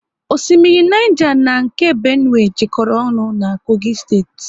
Orimmiri Niger na nke Benue jekoro ọnụ na Kogi steeti